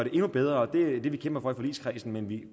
endnu bedre og det er det vi kæmper for i forligskredsen men vi